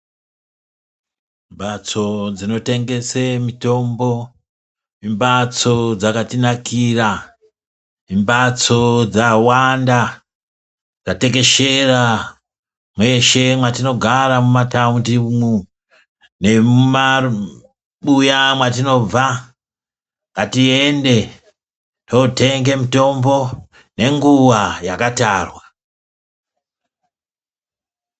Mbatso dzinotengese mitombo imbatso dzakatinakira imbatso dzawanda dzatekeshera mweshe mwatinogara mumataundi umwu. Nemumabuya mwatinobva ngatiende totenge mitombo nenguva yakatarwa.